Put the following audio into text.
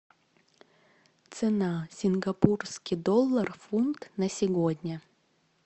цена сингапурский доллар фунт на сегодня